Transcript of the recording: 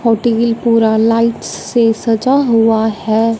पूरा लाइट से सजा हुआ है।